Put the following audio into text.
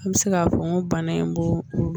An bɛ se k'a fɔ nko bana in n ko